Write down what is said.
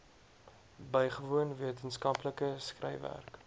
bygewoon wetenskaplike skryfwerk